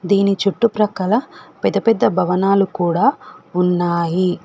దీని చుట్టూ ప్రక్కల పెద్ద పెద్ద భవనాలు కూడా ఉన్నాయి.